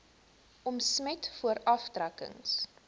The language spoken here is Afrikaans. omset voor aftrekkings